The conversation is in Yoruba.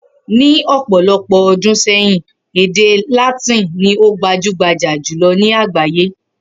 Ni òpò̩lo̩pò̩ o̩dún sé̩yìn, èdè Látìn ni o gbajúgbajà jùlo̩ ní àgbáyé